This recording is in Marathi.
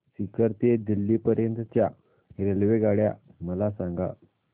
सीकर ते दिल्ली पर्यंत च्या रेल्वेगाड्या मला सांगा